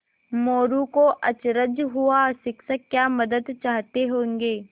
मोरू को अचरज हुआ शिक्षक क्या मदद चाहते होंगे